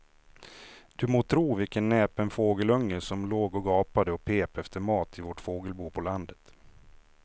Du må tro vilken näpen fågelunge som låg och gapade och pep efter mat i vårt fågelbo på landet.